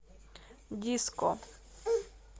диско